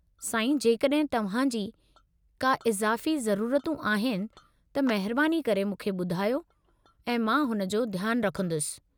साईं, जेकड॒हिं तव्हां जी का इज़ाफ़ी ज़रूरतूं आहिनि, त महिरबानी करे मूंखे ॿुधायो ऐं मां हुन जो ध्यानु रखंदुसि।